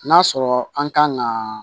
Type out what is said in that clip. N'a sɔrɔ an kan ka